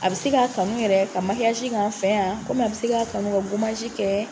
A be se ka kanu yɛrɛ ka k'an fɛ yan, a be se k'a kanu ka kɛ.